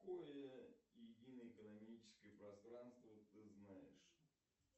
какое единое экономическое пространство ты знаешь